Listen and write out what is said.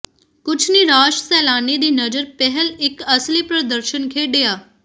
ਕੁਝ ਨਿਰਾਸ਼ ਸੈਲਾਨੀ ਦੀ ਨਜ਼ਰ ਪਿਹਲ ਇੱਕ ਅਸਲੀ ਪ੍ਰਦਰਸ਼ਨ ਖੇਡਿਆ